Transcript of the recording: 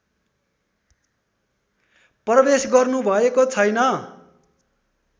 प्रवेश गर्नुभएको छैन